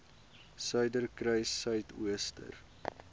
suiderkruissuidooster